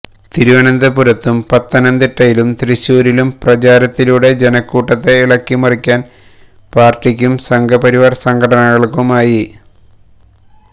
തിരുവനന്തപുരത്തും പത്തനംതിട്ടയിലും തൃശ്ശൂരും പ്രചാരണത്തിലൂടെ ജനക്കൂട്ടത്തെ ഇളക്കിമറിക്കാൻ പാർട്ടിക്കും സംഘപരിവാർ സംഘടനകൾക്കുമായി